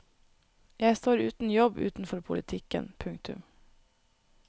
Jeg står uten jobb utenfor politikken. punktum